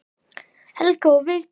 Helga og Vigdís.